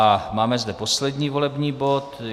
A máme zde poslední volební bod.